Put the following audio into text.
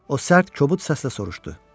O sərt, kobud səslə soruşdu: